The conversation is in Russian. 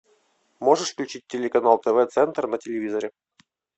можешь включить телеканал тв центр на телевизоре